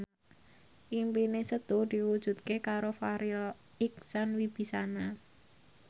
impine Setu diwujudke karo Farri Icksan Wibisana